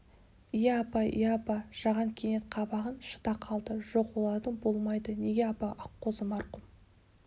иә апа иә апа жаған кенет қабағын шыта қалды жоқ оларың болмайды неге апа аққозы марқұм